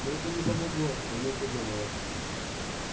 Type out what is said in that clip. но это не помогло заметил донован